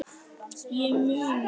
Í munni